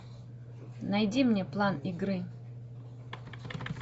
найди мне план игры